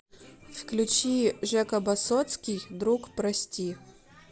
включи жека басотский друг прости